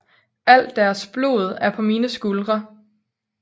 Alt deres blod er på mine skuldre